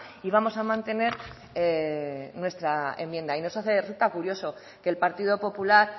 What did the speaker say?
y vamos a mantener nuestra enmienda y nos resulta curioso que el partido popular